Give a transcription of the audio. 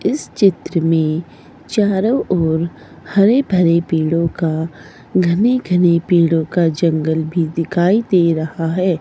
इस चित्र में चारों ओर हरे भरे पेड़ों का घने घने पेड़ों का जंगल भी दिखाई दे रहा है।